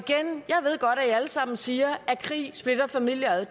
alle sammen siger at krig splitter familier ad